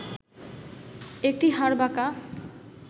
একটি হাড় বাঁকা